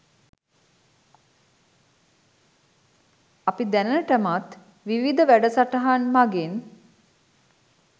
අපි දැනටමත් විවිධ වැඩසටහන් මගින්